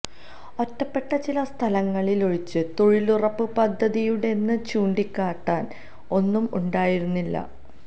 ഒറ്റപ്പെട്ട ചില സ്ഥലങ്ങളിലൊഴിച്ച് തൊഴിലുറപ്പ് പദ്ധതിയുടേതെന്ന് ചൂണ്ടിക്കാട്ടാന് ഒന്നും ഉണ്ടായിരുന്നില്ല